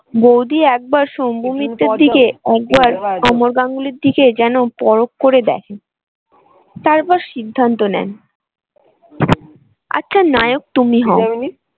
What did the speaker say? বৌদি একবার অমর গাঙ্গুলির দিকে যেন পরক করে দেখে। তারপর সিদ্ধান্ত নেন আচ্ছা নায়ক তুমি